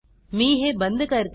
मी हे बंद करते